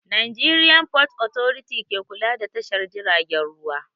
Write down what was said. Nigerian fort authority ke kula da tashar jiragen ruwa